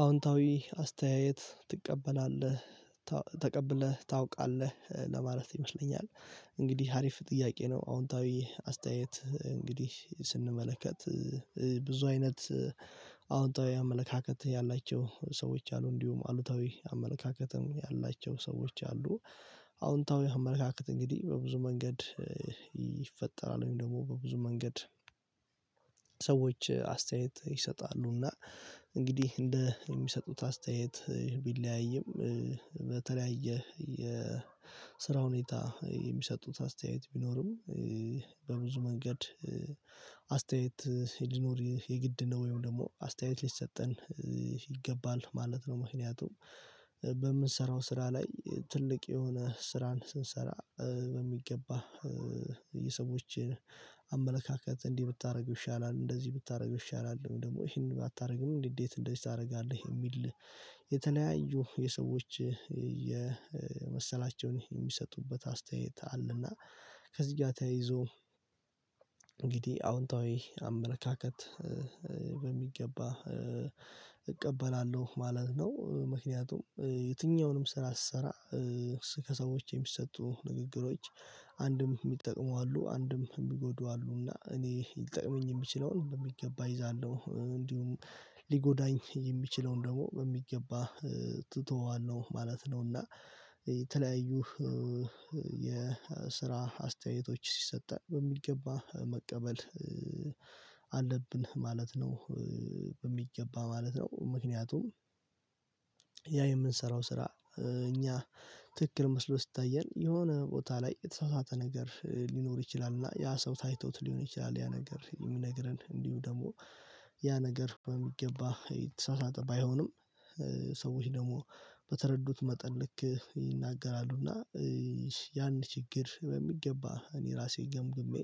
አዎንታዊ አስተያየት ትቀበላለህ ተቀብለህ ታውቃለህ ለማለት ይመስለኛል። እንግዲህ አሪፍ ጥያቄ ነው? አዎንታዊ አስተያየት እንግዲህ ስንመለከት ብዙ አይነት አወንታዊ አመለካከት ያላቸው ሰዎች አሉ እንዲሁም አሉታዊ አመለካከትም ያላቸው ሰዎች አሉ። አዎንታዊ አመለካከት እንግዲህ በብዙ መንገድ ይፈጠራል ወይም ደሞ በብዙ መንገድ ሰዎች አስተያየት ይሰጣሉና። እንግዲህ እንደ ሚሰጡት አስተያየት ቢለያይም በተለያየ የስራ ሁኔታ የሚሰጡት አስተያየት ቢኖርም በብዙ መንገድ አስተያየት ሊኖር የግድ ነው። ወይም ደሞ አስተያየት ሊሰጠን ይገባል ማለት ነው። ምክንያቱም በምንሰራው ስራ ላይ ትልቅ የሆነ ስራን ስንሰራ በሚገባ የሰዎችን አመለካከት እንዲህ ብታረገው ይሻላል እንደዚህ ብታረገው ይሻላል። እንዲሁም ደሞ እሄንን ባታርግም እንዴት እንደዚህ ታረጋለህ የሚል የተለያዩ የሰዎች የመሰላቸውን የሚሰጡበት አስተያየት አለና። ከዚህ ጋ ተያይዞ እንግዲህ አዎንታዊ አመለካከት በሚገባ እቀበላለሁ ማለት ነው። ምክንያቱም የትኛውንም ስራ ስሰራ ከሰዎች የሚሰጡ ንግግሮች አንድም ሚጠቅሙ አሉ አንድም ሚጎዱ አሉ። እና እኔ ሊጠቅመኝ የምችለውን በሚገባ እይዛለሁ። እንዲሁም ሊጎዳኝ የሚችለውን ደሞ በሚገባ ትተዋለህ ማለት ነው። እና የተለያዩ የስራ አስተያየቶች ሲሰጣት በሚገባ መቀበል አለብን ማለት ነው። በሚገባ ማለት ነው ምክንያቱም ያ የምንሰራው ስራ እኛ ትክክል መስሎ ሲታየን የሆነ ቦታ ላይ የተሳሳተ ነገር ሊኖር ይችላል። እና ያ ሰው ታይቶት ሊሆን ይችላል። ያ ነገር የሚነግረን እንዲሁ ደሞ ያ ነገር በሚገባ የተሳሳተ ባይሆንም ሰዎች ደሞ በተረዱት መጠን ልክ ይናገራሉና። ያን ችግር በሚገባ እኔ ራሴ ገምግሜ